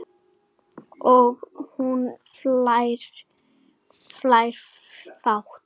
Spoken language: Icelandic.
Og hún hlær hátt.